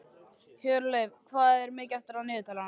Hjörleif, hvað er mikið eftir af niðurteljaranum?